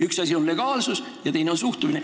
Üks asi on legaalsus ja teine asi on suhtumine.